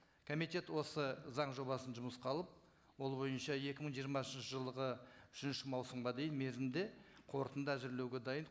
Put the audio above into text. комитет осы заң жобасын жұмысқа алып ол бойынша екі мың жиырмасыншы жылғы үшінші маусымға дейін мерзімде қорытынды әзірлеуге дайын